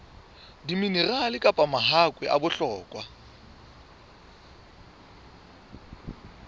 diminerale kapa mahakwe a bohlokwa